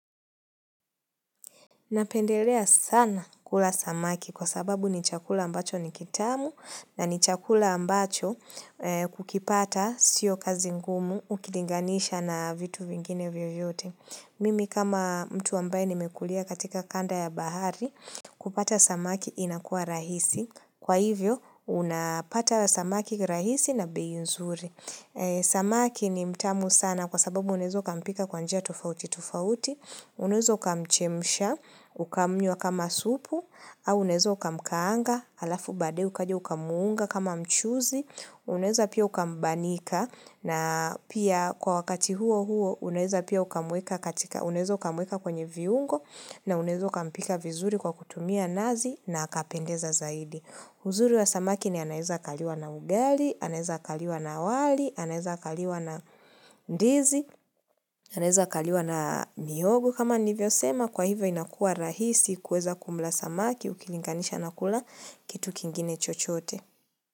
Napendelea sana kula samaki kwa sababu ni chakula ambacho ni kitamu na ni chakula ambacho kukipata sio kazi ngumu ukilinganisha na vitu vingine vyo vyote. Mimi kama mtu ambaye nimekulia katika kanda ya bahari kupata samaki inakua rahisi. Kwa hivyo unapata samaki rahisi na bei nzuri. Samaki ni mtamu sana kwa sababu unaweza kampika kwa njia tofauti tofauti. Unaweza uka mchemsha, uka mnywa kama supu, au unaweza uka mkaanga, alafu baadaye ukaja uka munga kama mchuzi, unezo pia uka mbanika, na pia kwa wakati huo huo unaweza pia ukamueka katika uka mweka kwenye viungo, na unaweza uka mpika vizuri kwa kutumia nazi, na akapendeza zaidi. Uzuri wa samaki ni anaeza kaliwa na ugali, anaeza kaliwa na wali, anaeza kaliwa na ndizi, anaeza kaliwa na mihogo kama nivyo sema kwa hivyo inakua rahisi kueza kumla samaki ukilinganisha na kula kitu kingine chochoote.